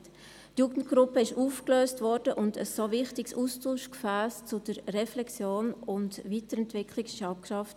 Die Jugendgruppe wurde aufgelöst und ein so wichtiges Austauschgefäss zur Reflexion und Weiterentwicklung wurde abgeschafft.